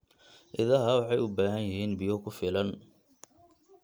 Idaha waxay u baahan yihiin biyo ku filan.